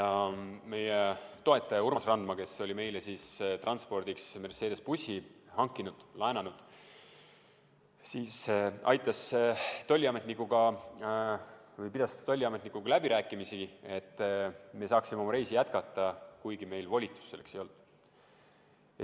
Meie toetaja Urmas Randma, kes oli meile transpordiks Mercedese bussi laenanud, pidas tolliametnikuga läbirääkimisi, et me saaksime oma reisi jätkata, kuigi meil volitust selleks ei olnud.